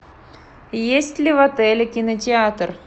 есть ли в отеле кинотеатр